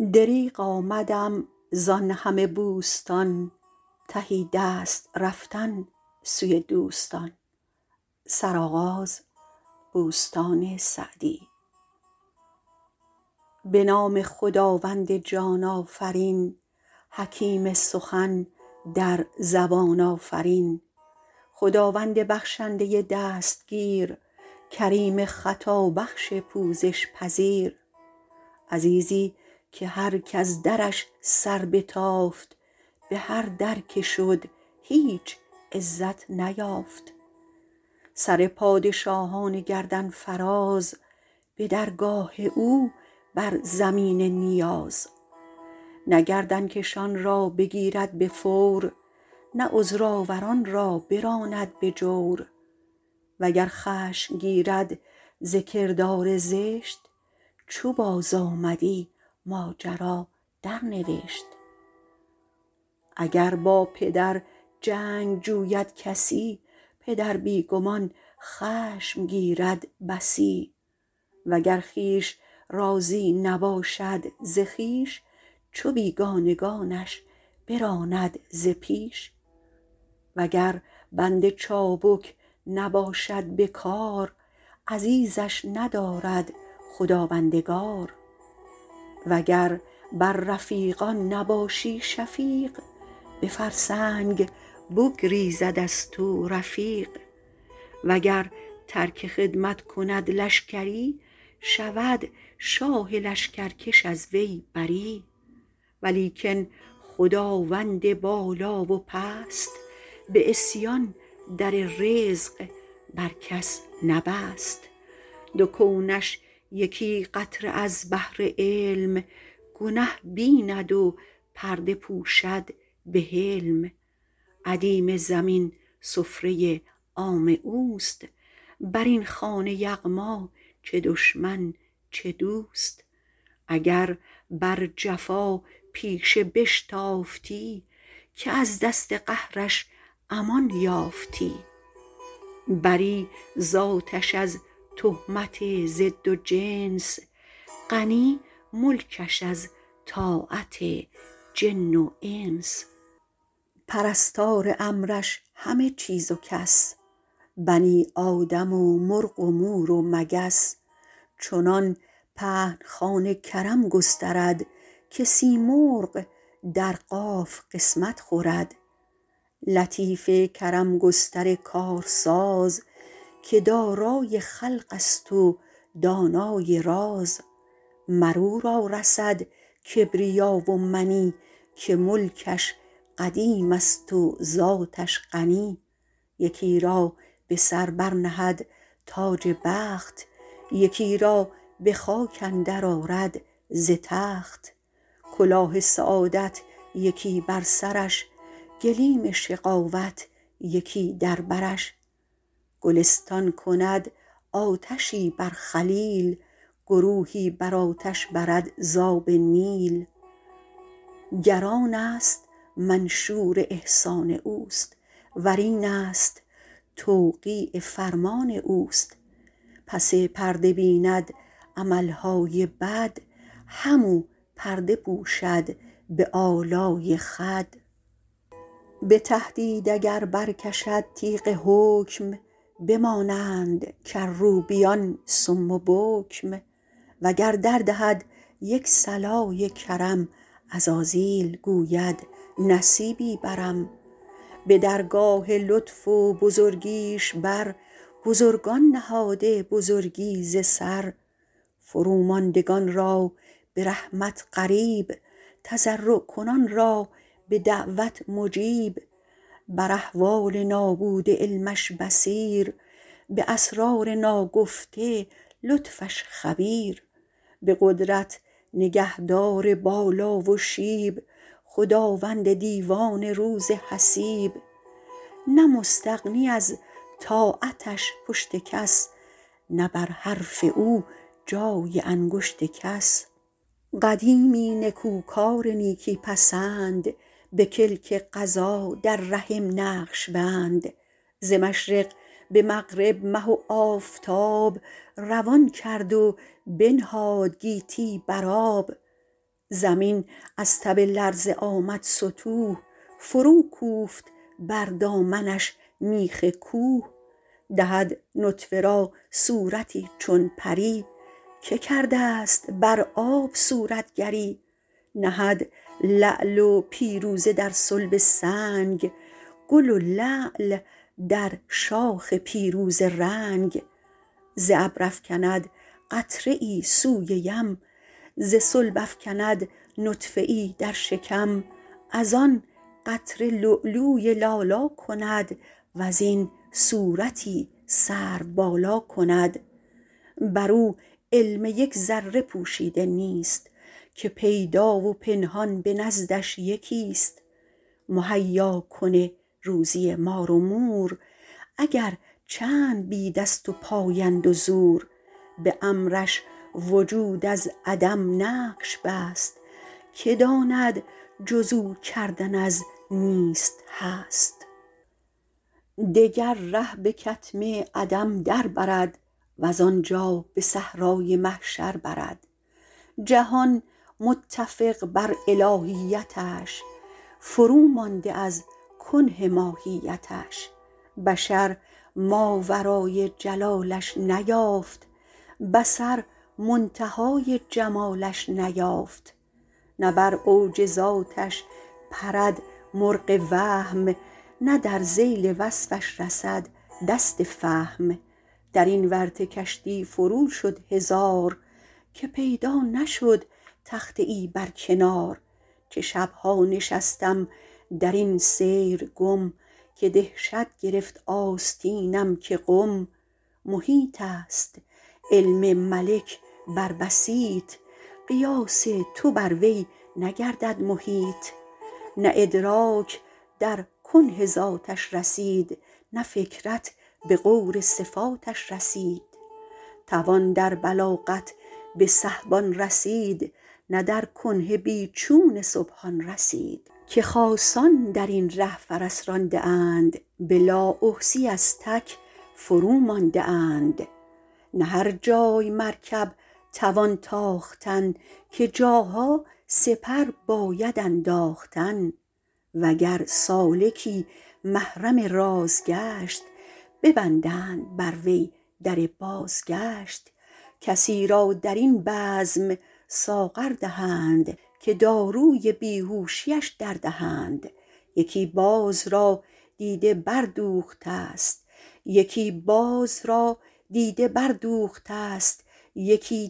به نام خداوند جان آفرین حکیم سخن در زبان آفرین خداوند بخشنده دستگیر کریم خطابخش پوزش پذیر عزیزی که هر کز درش سر بتافت به هر در که شد هیچ عزت نیافت سر پادشاهان گردن فراز به درگاه او بر زمین نیاز نه گردن کشان را بگیرد به فور نه عذرآوران را براند به جور وگر خشم گیرد ز کردار زشت چو بازآمدی ماجرا درنوشت اگر با پدر جنگ جوید کسی پدر بی گمان خشم گیرد بسی وگر خویش راضی نباشد ز خویش چو بیگانگانش براند ز پیش وگر بنده چابک نباشد به کار عزیزش ندارد خداوندگار وگر بر رفیقان نباشی شفیق به فرسنگ بگریزد از تو رفیق وگر ترک خدمت کند لشکری شود شاه لشکرکش از وی بری ولیکن خداوند بالا و پست به عصیان در رزق بر کس نبست دو کونش یکی قطره از بحر علم گنه بیند و پرده پوشد به حلم ادیم زمین سفره عام اوست بر این خوان یغما چه دشمن چه دوست اگر بر جفاپیشه بشتافتی که از دست قهرش امان یافتی بری ذاتش از تهمت ضد و جنس غنی ملکش از طاعت جن و انس پرستار امرش همه چیز و کس بنی آدم و مرغ و مور و مگس چنان پهن خوان کرم گسترد که سیمرغ در قاف قسمت خورد لطیف کرم گستر کارساز که دارای خلق است و دانای راز مر او را رسد کبریا و منی که ملکش قدیم است و ذاتش غنی یکی را به سر بر نهد تاج بخت یکی را به خاک اندر آرد ز تخت کلاه سعادت یکی بر سرش گلیم شقاوت یکی در برش گلستان کند آتشی بر خلیل گروهی به آتش برد ز آب نیل گر آن است منشور احسان اوست ور این است توقیع فرمان اوست پس پرده بیند عمل های بد هم او پرده پوشد به آلای خود به تهدید اگر برکشد تیغ حکم بمانند کروبیان صم و بکم وگر دردهد یک صلای کرم عزازیل گوید نصیبی برم به درگاه لطف و بزرگیش بر بزرگان نهاده بزرگی ز سر فروماندگان را به رحمت قریب تضرع کنان را به دعوت مجیب بر احوال نابوده علمش بصیر به اسرار ناگفته لطفش خبیر به قدرت نگهدار بالا و شیب خداوند دیوان روز حسیب نه مستغنی از طاعتش پشت کس نه بر حرف او جای انگشت کس قدیمی نکوکار نیکی پسند به کلک قضا در رحم نقش بند ز مشرق به مغرب مه و آفتاب روان کرد و بنهاد گیتی بر آب زمین از تب لرزه آمد ستوه فروکوفت بر دامنش میخ کوه دهد نطفه را صورتی چون پری که کرده ست بر آب صورتگری نهد لعل و پیروزه در صلب سنگ گل لعل در شاخ پیروزه رنگ ز ابر افکند قطره ای سوی یم ز صلب افکند نطفه ای در شکم از آن قطره لولوی لالا کند وز این صورتی سروبالا کند بر او علم یک ذره پوشیده نیست که پیدا و پنهان به نزدش یکی ست مهیاکن روزی مار و مور اگر چند بی دست وپای اند و زور به امرش وجود از عدم نقش بست که داند جز او کردن از نیست هست دگر ره به کتم عدم در برد وز آنجا به صحرای محشر برد جهان متفق بر الهیتش فرومانده از کنه ماهیتش بشر ماورای جلالش نیافت بصر منتهای جمالش نیافت نه بر اوج ذاتش پرد مرغ وهم نه در ذیل وصفش رسد دست فهم در این ورطه کشتی فرو شد هزار که پیدا نشد تخته ای بر کنار چه شب ها نشستم در این سیر گم که دهشت گرفت آستینم که قم محیط است علم ملک بر بسیط قیاس تو بر وی نگردد محیط نه ادراک در کنه ذاتش رسید نه فکرت به غور صفاتش رسید توان در بلاغت به سحبان رسید نه در کنه بی چون سبحان رسید که خاصان در این ره فرس رانده اند به لااحصیٖ از تک فرومانده اند نه هر جای مرکب توان تاختن که جاها سپر باید انداختن وگر سالکی محرم راز گشت ببندند بر وی در بازگشت کسی را در این بزم ساغر دهند که داروی بیهوشی اش دردهند یکی باز را دیده بردوخته ست یکی